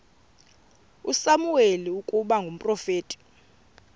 usamuweli ukuba ngumprofeti